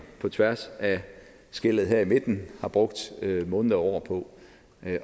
på tværs af skellet her i midten har brugt måneder og år på